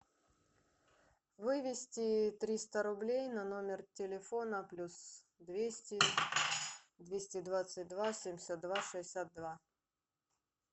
вывести триста рублей на номер телефона плюс двести двести двадцать два семьдесят два шестьдесят два